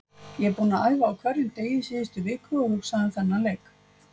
Ég er búinn að æfa á hverjum degi síðustu viku og hugsað um þennan leik.